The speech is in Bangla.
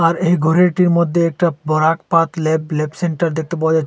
আর এই ঘরিটির মধ্যে একটা Barak path lab lab centre দেখতে পাওয়া যাচ্ছে।